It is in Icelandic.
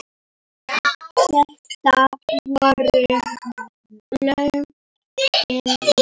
Þetta voru lögin mín.